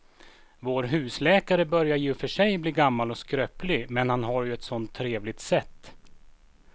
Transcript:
Vår husläkare börjar i och för sig bli gammal och skröplig, men han har ju ett sådant trevligt sätt!